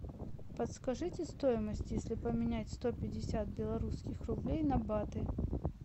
подскажите стоимость если поменять сто пятьдесят белорусских рублей на баты